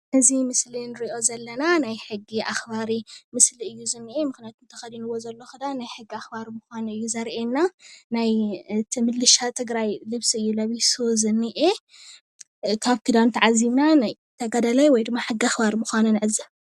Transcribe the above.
እዚ ምስሊ እንርእዪ ዘለና ናይ ሕጊ ኣክባሪ ምስሊ እዩ ዝኒአ። ምክንያቱ እቲ ተከዲኒዎ ዘሎ ክዳን ናይ ሕጊ ኣክባሪ ምኳኑ እዩ ዘርእየና። ናይ እቲ ምልሻ ትግራይ ልብሲ እዩ ለቢስዎ ዝኒአ። ካበ ክዳኑ ተዓዚብና ናይ ተጋዳላይ ወይ ድማ ሕጊ ኣክባሪ ምኳኑ ንዕዘብ።